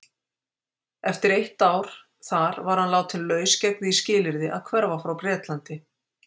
Eftir eitt ár þar var hann látinn laus gegn því skilyrði að hverfa frá Bretlandi.